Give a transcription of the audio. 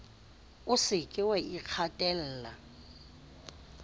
o se ke wa ikgatella